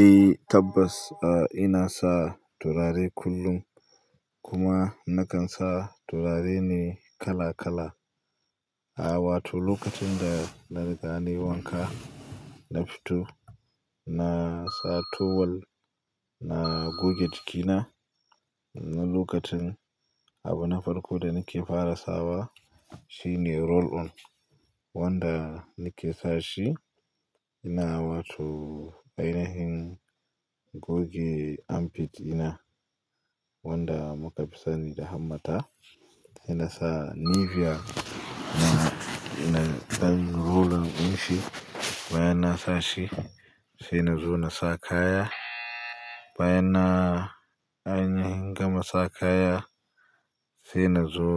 Eh tabbas, a ina sa turare kullum kuma nakan sa turare ne kala kala. A wato lokacin da na riga ni wanka na fito, na sa towel na goge jikina. Lokacin abu na farko da nake fara sawa shine roll on wanda nake sa shi. Ina wato ainihin goge armpit ina wanda muka fi sani da hammata. Sai na sa Nivea ina ɗanyen roll on din shi bayan na sa shi. Sai na zo na sa kaya, bayan na gama sa kaya sai na zo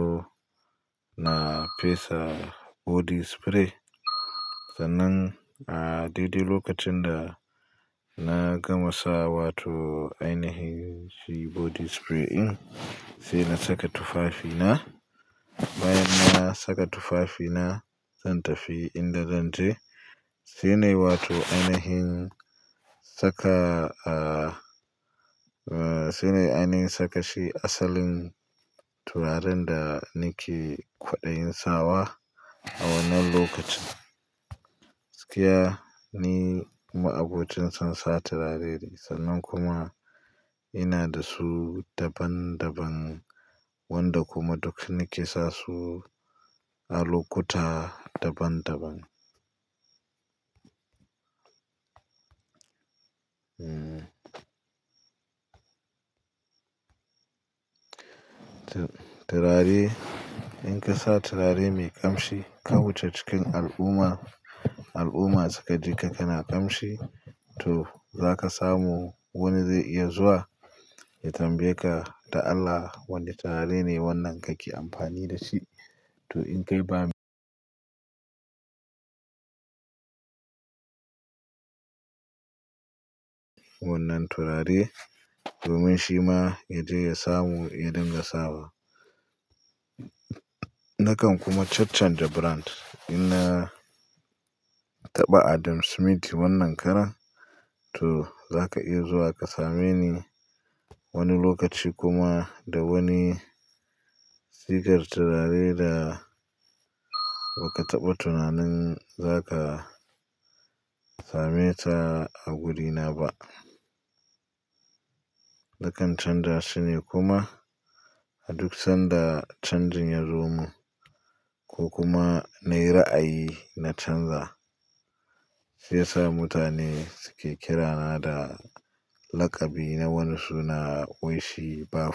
na fesa body spray. Sannan a dai dai lokacin da na gama sa wato ainihin shi body spray ɗin sai na saka tufafi na. Bayan na saka tufafi na zan tafi inda zan je. Sai ne wato ainihin saka sai ne anin saka shi asalin turaren da nake kwaɗayin sawa a wannan lokacin. Gaskiya ne ma'aƙocin sansa turare ne sannan kuma ina da su daban daban wanda kuma duk nake sa su a lokuta daban daban. Turare in ka sa turare mai ƙamshi ka wuce cikin al'umma, al'umma suka ji ka kana ƙamshi to zaka samu wani zai iya zuwa ya tambayeka da Allah wane turare ne wannan kake amfani dashi to in kai ba mi wannan turare domin shi ma ya je ya samu ya dinga sawa. Nakan kuma cancanje brand. In na taɓa Adam Smith wannan karan to zaka iya zuwa ka same ni wani lokaci kuma da wani sigar turare da ba ka taɓa tunanin zaka same ta a gurina ba. Nakan canja su ne kuma a duk sanda canjin ya zo mun ko kuma na yi ra'ayi na canza. Sai ya sa mutane suke kira na da laƙabi na wani suna wai shi baf.